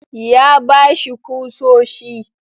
Ya ba shi kusoshi.